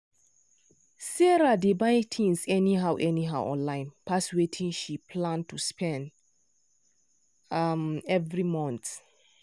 sarah dey buy things anyhow anyhow online pass wetin she plan to spend um every month.